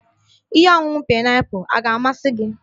Ihe ọṅuṅu paịnapụl a ga-amasị gị?